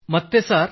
ಮತ್ತೆ ಸರ್